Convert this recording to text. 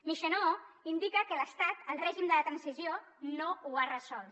michonneau indica que l’estat el règim de la transició no ho ha resolt